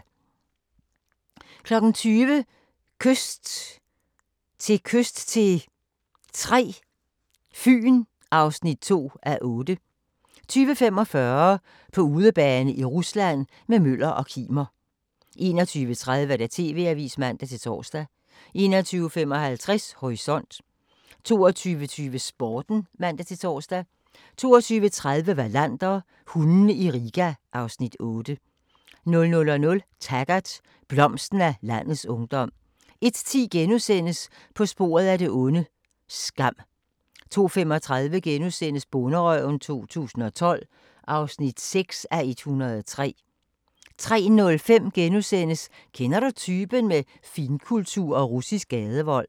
20:00: Kyst til kyst III – Fyn (2:8) 20:45: På udebane i Rusland – med Møller og Kimer 21:30: TV-avisen (man-tor) 21:55: Horisont 22:20: Sporten (man-tor) 22:30: Wallander: Hundene i Riga (Afs. 8) 00:00: Taggart: Blomsten af landets ungdom 01:10: På sporet af det onde: Skam * 02:35: Bonderøven 2012 (6:103)* 03:05: Kender du typen? – Med finkultur og russisk gadevold *